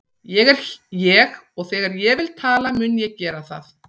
Ég er ég og þegar ég vil tala mun ég gera það.